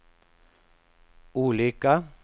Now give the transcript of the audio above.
olika